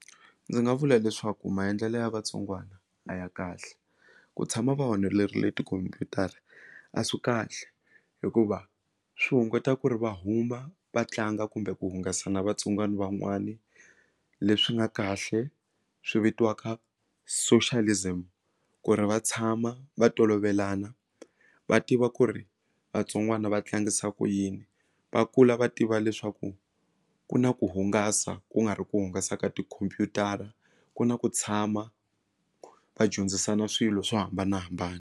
Ndzi nga vula leswaku maendlelo ya vatsongwana a ya kahle ku tshama va honorile tikhompyutara a swi kahle hikuva swi hunguta ku ri va huma vatlanga kumbe ku hungasa na vatsongwana van'wani leswi nga kahle swi vitiwaka socialism ku ri va tshama va tolovelana va tiva ku ri vatsongwana va tlangisa ku yini va kula va tiva leswaku ku na ku hungasa ku nga ri ku hungasa ka tikhompyutara ku na ku tshama va dyondzisana swilo swo hambanahambana.